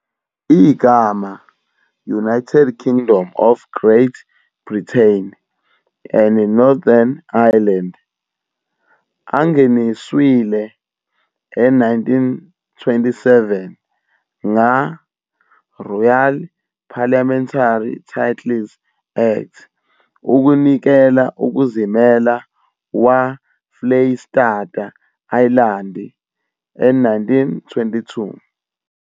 Igama "United Kingdom of Great Britain and Northern Ireland" angeniswile e1927 nga-"Royal and Parliamentary Titles Act" ukunikela ukuzimela waFleyistata Ayilandi e1922.